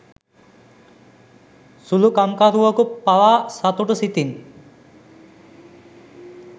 සුළු කම්කරුවකු පවා සතුටු සිතින්